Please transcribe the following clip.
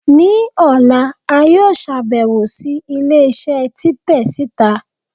ni òlá, a yóò ṣabẹwo si ilé isé titẹ sita.